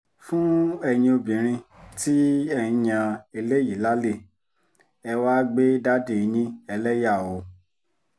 fún ẹ̀yin obìnrin tí ẹ̀ ń yan eléyìí lálẹ́ ẹ wàá gbé dádì yín ẹlẹ́yà oòó